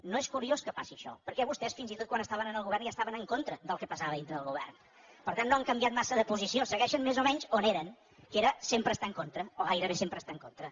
no és curiós que passi això perquè vostès fins i tot quan estaven en el govern ja estaven en contra del que passava dintre del govern per tant no han canviat massa de posició segueixen més o menys on eren que era sempre estar en contra o gairebé sempre estar en contra